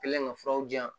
Kɛlen ka furaw di yan